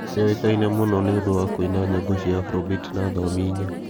Nĩoĩkaine mũno nĩ ũndũ wa kũina nyĩmbo cia Afrobit na thiomi inya.